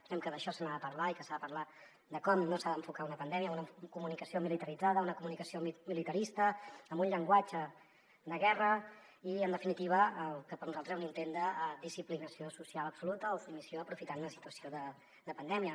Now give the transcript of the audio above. pensem que d’això se n’ha de parlar i que s’ha de parlar de com no s’ha d’enfocar una pandèmia amb una comunicació militaritzada una comunicació militarista amb un llenguatge de guerra i en definitiva amb el que per a nosaltres era un intent de disciplinació social absoluta o submissió aprofitant una situació de pandèmia